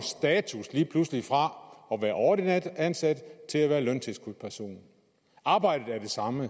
status lige pludselig fra at være ordinært ansat til at være løntilskudsperson arbejdet er det samme